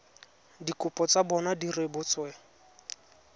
dikopo tsa bona di rebotsweng